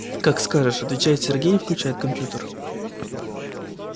как скажешь отвечает сергей и включает компьютер